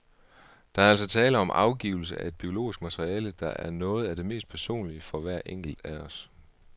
Der er altså tale om afgivelse af et biologisk materiale, der er noget af det mest personlige for hver enkelt af os.